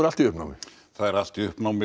allt í uppnámi það er allt í uppnámi